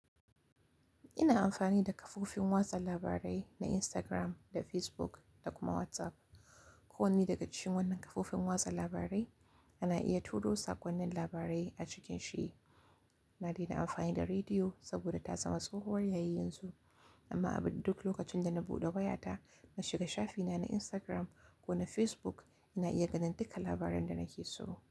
Ina amfani da kafofin watsa labarai na Instagram da Facebook da kuma WhatsApp. Ko wanne daga cikin wannan kafofin watsa labarai ana iya turo sakonnin labarai a cikin shi. Na dai na amfani da rediyo saboda ta zama tsohuwar yayi yanzu. Amma a duk lokacin da na buɗe wayata na shiga shafina na Instagram ko na Facebook ina iya ganin dukkan labaran da nake so.